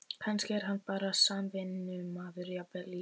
Kannski er hann bara samvinnumaður, jafnvel í